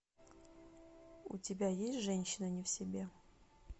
у тебя есть женщина не в себе